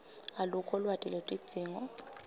alukho lwati lwetidzingo